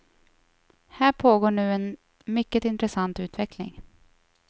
Här pågår nu en mycket intressant utveckling.